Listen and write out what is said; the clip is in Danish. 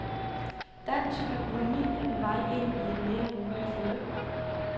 Dansk økonomi er på vej ind i et mere roligt forløb.